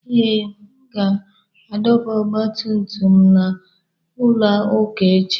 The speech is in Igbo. Ee, m ga-adọba ọgba tum tum m na n'ụlọ ụka echi.